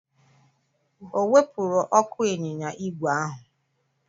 O wepụrụ ọkụ ịnyịnya ígwè ahụ?